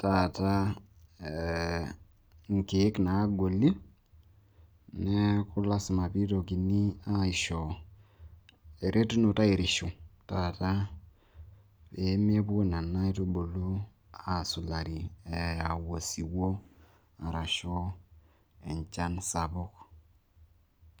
taa nkeek naagoli. neelku mpaka nishori enkirishunoto, pee mepuo nena keek aurori tenkaraki enchan sapuk.